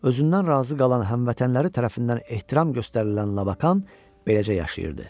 Özündən razı qalan həmvətənləri tərəfindən ehtiram göstərilən Labakan beləcə yaşayırdı.